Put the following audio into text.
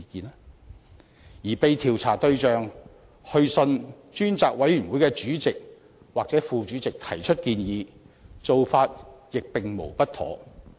至於被調查對象致函專責委員會主席或副主席提出建議，此做法亦無不妥。